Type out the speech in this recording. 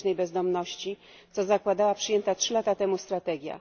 ulicznej bezdomności, co zakładała przyjęta trzy lata temu strategia.